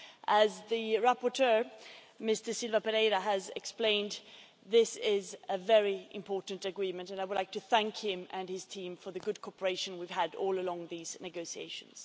As the rapporteur, Mr Silva Pereira, has explained, this is a very important agreement, and I would like to thank him and his team for the good cooperation we've had throughout these negotiations.